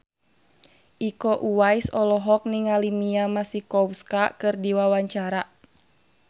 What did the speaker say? Iko Uwais olohok ningali Mia Masikowska keur diwawancara